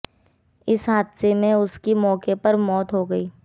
इस हादसे में उसकी मौके पर मौत हो गई